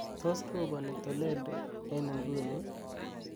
tos roboni toledo en inguni ii